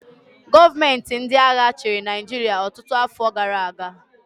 Gọọmenti ndị agha chịrị Naịjirịa ọtụtụ afọ gara aga